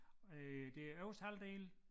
Øh det øverste halvdel